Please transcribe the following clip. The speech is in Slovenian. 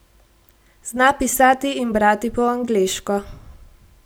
Zna pisati in brati po angleško.